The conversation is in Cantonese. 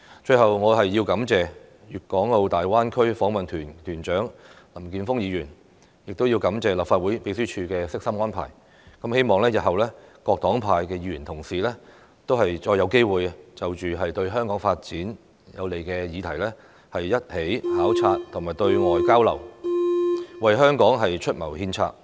最後，我要感謝粵港澳大灣區訪問團團長林健鋒議員，亦要感謝立法會秘書處的悉心安排，希望日後各黨派的議員同事再有機會就着對香港發展有利的議題，一起考察和對外交流，為香港出謀獻策。